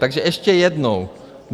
Takže ještě jednou.